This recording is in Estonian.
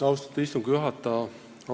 Austatud istungi juhataja!